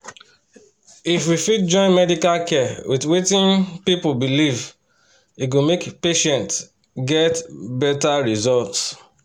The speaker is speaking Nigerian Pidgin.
if we fit join medical care with wetin um people believe e go make patients get better result.